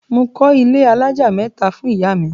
Mo kọ́ ilé alájà mẹ́ta fún ìyá mi.